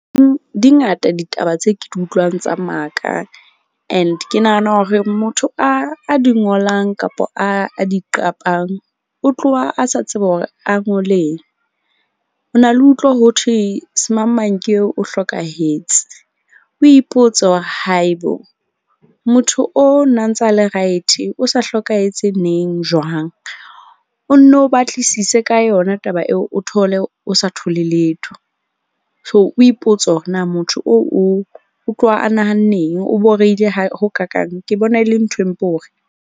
Di ngata ditaba tse ke di utlwang tsa maka. And ke nahana hore motho a di ngolang kapa a di qapang, o tloha a sa tsebe hore a ngoleng. Ho na le utlwa ho thwe semang mang ke eo o hlokahetse, o ipotse hore haibo motho o na ntsa le right-e o sa hlokahetse neng, jwang. O nno o batlisise ka yona taba eo o thole o sa thole letho. So, o ipotse hore na motho oo o tloha a nahanne eng, o borehile ha ho kaakang. Ke bona e le nthwe mpe hore.